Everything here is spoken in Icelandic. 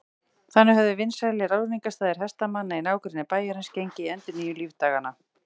Þannig höfðu vinsælir áningarstaðir hestamanna í nágrenni bæjarins gengið í endurnýjung lífdaganna.